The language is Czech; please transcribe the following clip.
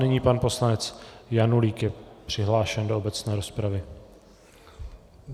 Nyní pan poslanec Janulík je přihlášen do obecné rozpravy.